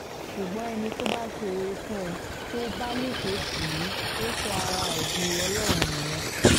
ṣùgbọ́n ẹni tó bá ṣoore fún ẹ tó bá lọ́ṣọ̀ọ́ tí ì ò sọ ara ẹ di ọlọ́run nìyẹn